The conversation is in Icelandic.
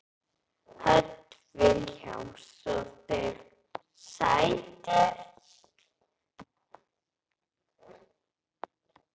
Hödd Vilhjálmsdóttir: Sætir?